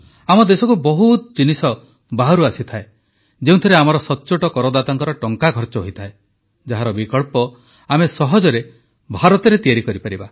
ଆମ ଦେଶକୁ ବହୁତ ଜିନିଷ ବାହାରୁ ଆସିଥାଏ ଯେଉଁଥିରେ ଆମର ସଚ୍ଚୋଟ କରଦାତାଙ୍କ ଟଙ୍କା ଖର୍ଚ ହୋଇଥାଏ ଯାହାର ବିକଳ୍ପ ଆମେ ସହଜରେ ଭାରତରେ ତିଆରି କରିପାରିବା